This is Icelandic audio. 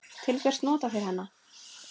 Til hvers nota þeir hana?